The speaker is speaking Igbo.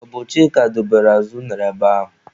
Ọ bụ Chika dobere azụ unere ebe ahụ.